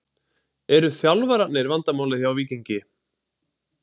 Eru þjálfarnir vandamálið hjá Víkingi?